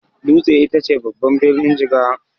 Dutse ita ce babban birnin Jigawa.